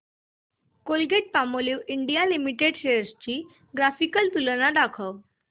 Colgate Palmolive India limited shares ची graphical तुलना दाखव